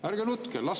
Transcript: Ärge nutke!